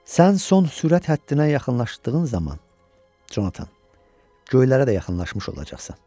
Sən son sürət həddinə yaxınlaşdığın zaman, Conatan, göylərə də yaxınlaşmış olacaqsan.